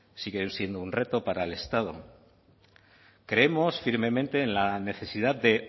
sigue siendo un reto para el estado creemos firmemente en la necesidad de